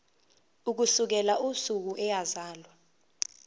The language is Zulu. ukusukela usuku eyazalwa